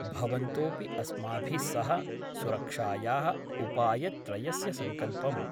भवन्तोऽपि अस्माभिः सह सुरक्षायाः उपायत्रयस्य सङ्कल्पं